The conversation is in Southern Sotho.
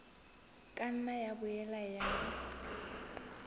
ka nna ya boela ya